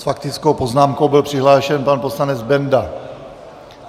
S faktickou poznámkou byl přihlášen pan poslanec Benda.